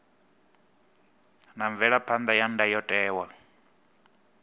na mvelaphan ḓa ya ndayotewa